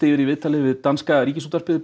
yfir í viðtali við danska Ríkisútvarpið